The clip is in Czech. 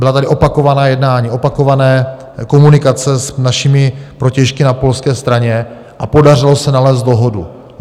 Byla tady opakovaná jednání, opakované komunikace s našimi protějšky na polské straně a podařilo se nalézt dohodu.